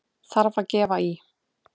Þarf að gefa í!